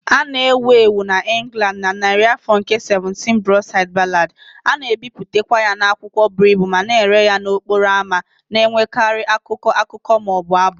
A na-ewu ewu n'Ingland na narị afọ nke 17 Broadside Ballad, a na-ebipụtakwa ya n'akwụkwọ buru ibu ma na-ere ya n'okporo ámá, na-enwekarị akụkọ, akụkọ, ma ọ bụ abụ.